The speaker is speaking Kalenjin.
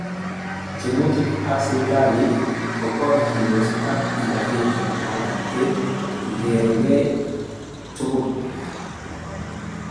Tyemutik ab sipitali kobarchindos ak interventions alak che lkeregei tugul